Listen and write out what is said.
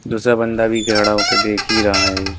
दूसरा बंदा भी खड़ा होके देखी रहा है।